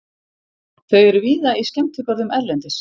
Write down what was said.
Þau eru víða í skemmtigörðum erlendis.